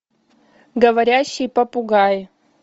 говорящий попугай